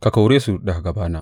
Ka kore su daga gabana!